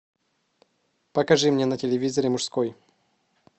покажи мне на телевизоре мужской